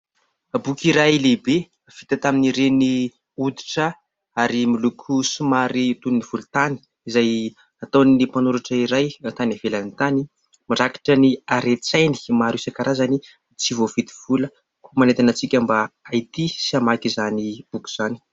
Boky iray lehibe vita tamin'ireny oditra ary miloko somary toy ny volon-tany izay nataon'ny mpanoratra iray tany hivelany tany. Mirakitra ny haren-tsainy maro isankarazany tsy voavidy vola koa manentana antsika mba ahitia sy hamaky izany boky izany.